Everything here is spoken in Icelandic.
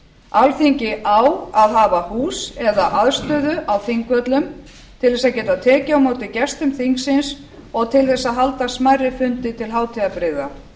alþingi á að hafa hús eða aðstöðu á þingvöllum til þess að geta tekið á móti gestum þingsins og til þess að halda smærri fundi til hátíðabrigða